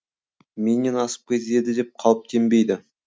менен асып кетеді деп қауіптенбейді